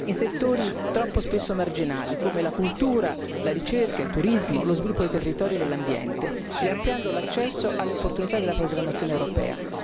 in settori troppo spesso marginali, come la cultura, la ricerca, il turismo, lo sviluppo dei territori e dell'ambiente, e ampliando l'accesso alle opportunità della programmazione europea.